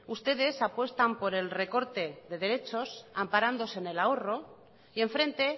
ustedes apuestan por el recorte de derechos amparándose en el ahorro y enfrente